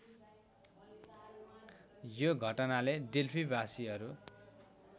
यो घटनाले डेल्फीबासीहरू